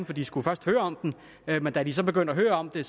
for de skulle først høre om den men da de så begyndte at høre om det